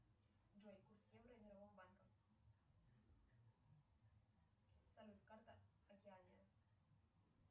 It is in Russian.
джой курс евро мирового банка салют карта океания